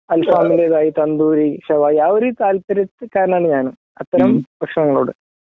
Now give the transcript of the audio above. അൽഫാമിന്റേതായി തണ്ടൂരി ,ഷവായി ആ ഒരു താൽപര്യകാരനാണ് ഞാനും അത്തരം ഭക്ഷണങ്ങളോട്